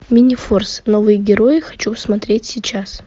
минифорс новые герои хочу посмотреть сейчас